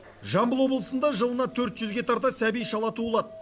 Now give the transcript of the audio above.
жамбыл облысында жылына төрт жүзге тарта сәби шала туылады